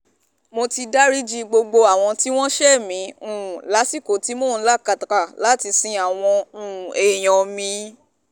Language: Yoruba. mo ti dariji gbogbo àwọn tí wọ́n ṣẹ̀ mí um lásìkò tí mò ń làkàkà láti sin àwọn um èèyàn mi